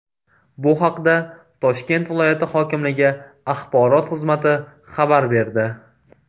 Bu haqda Toshkent viloyati hokimligi axborot xizmati xabar berdi .